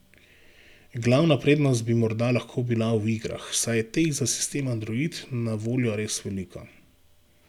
Glavna prednost bi morda lahko bila v igrah, saj je teh za sistem android na voljo res veliko.